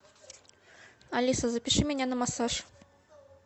алиса запиши меня на массаж